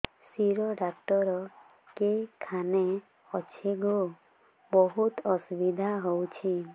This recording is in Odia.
ଶିର ଡାକ୍ତର କେଖାନେ ଅଛେ ଗୋ ବହୁତ୍ ଅସୁବିଧା ହଉଚି